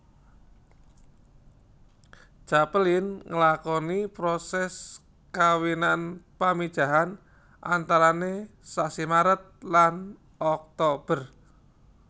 Capelin nglakoni proses kawinan pamijahan antarane sasi Maret lan Oktober